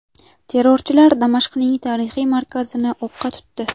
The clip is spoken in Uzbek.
Terrorchilar Damashqning tarixiy markazini o‘qqa tutdi.